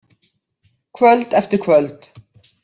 Kvöld eftir kvöld.